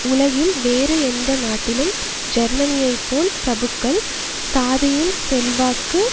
உலகில் வேறு எந்த நாட்டிலும் ஜேர்மனியை போல் பிரபுக்கள் சாதியின் செல்வாக்கு